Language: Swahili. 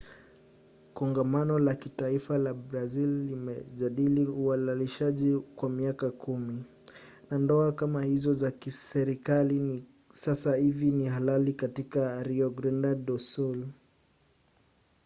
kongamano la kitaifa la brazili limejadili uhalalishaji kwa miaka 10 na ndoa kama hizo za kiserikali sasa hivi ni halali tu katika rio grande do sul